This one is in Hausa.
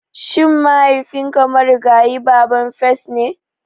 Shin mahaifinka marigayi babban firist ne?